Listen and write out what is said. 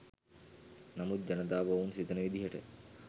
නමුත් ජනතාව ඔවුන් සිතන විදිහට